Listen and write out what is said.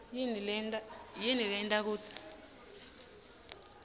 yini leyenta kutsi